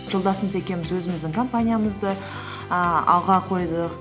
жолдасымыз екеуміз өзіміздің компаниямызды ііі алға қойдық